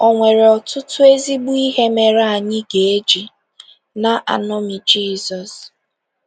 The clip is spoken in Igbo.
O nwere ọtụtụ ezigbo ihe mere anyị ga - eji na - eṅomi Jizọs.